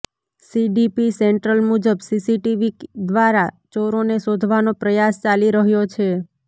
DCP central મુજબ CCTV દ્વારા ચોરોને શોધવાનો પ્રયાસ ચાલી રહ્યો છે